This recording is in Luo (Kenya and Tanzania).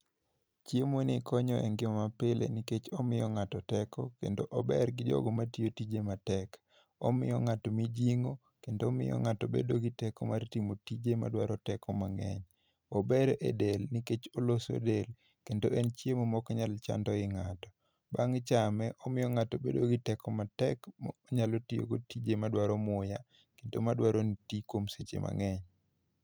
Chiemo ni konyo e ngima ma pile nikech omiyo ng'ato teko kendo ober gi jogo matiyo tije matek. Omiyo ng'ato mijing'o kendo omiyo ng'ato bedo gi teko mar timo tije ma dwaro teko mang'eny. Ober e del nikech oloso del kendo en chiemo ma oknyal chando ii ng'ato. Bang' chame, omiyo ng'ato bedo gi teko matek ma onyalo tiyo go tije madwaro muya kendo madwaro ni iti kuom seche mang'eny.